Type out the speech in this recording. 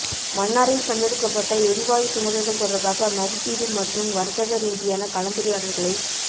மன்னாரில் கண்டெடுக்கப்பட்ட எரிவாயு கிணறுகள் தொடர்பாக மதிப்பீடு மற்றும் வர்த்தக ரீதியான கலந்துரையாடல்களை